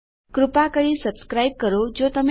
કૃપા કરી સબસ્ક્રાઈબ કરો જો તમે કર્યું નથી